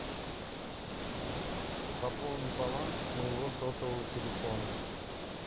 пополни баланс моего сотового телефона